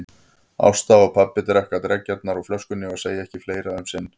Ásta og pabbi drekka dreggjarnar úr flöskunni og segja ekki fleira um sinn.